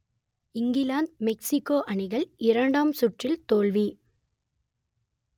England Mexico அணிகள் இரண்டாம் சுற்றில் தோல்வி